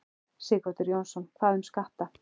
Sighvatur Jónsson: Hvað um skatta?